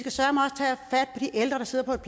ældre der sidder på et